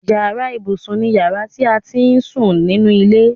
Yàrá ibùsùn ni yàrá ti à á ti ń sún nínú ilé.